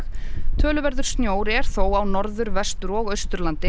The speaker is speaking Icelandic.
töluverður snjór er þó á Norður Vestur og Austurlandi